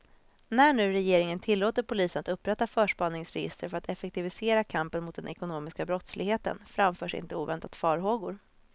När nu regeringen tillåter polisen att upprätta förspaningsregister för att effektivisera kampen mot den ekonomiska brottsligheten, framförs inte oväntat farhågor.